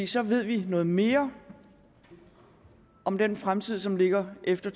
så ved vi noget mere om den fremtid som ligger efter